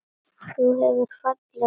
Þú hefur falleg augu.